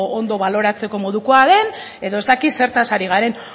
ondo baloratzeko modukoa den edo ez dakit zertaz ari garen